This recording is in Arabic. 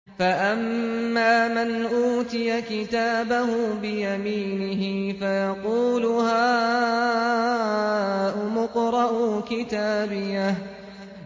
فَأَمَّا مَنْ أُوتِيَ كِتَابَهُ بِيَمِينِهِ فَيَقُولُ هَاؤُمُ اقْرَءُوا كِتَابِيَهْ